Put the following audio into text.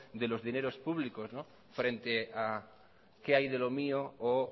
de los dineros públicos frente a qué hay de lo mío o